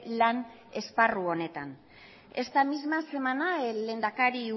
lan esparru honetan esta misma semana el lehendakari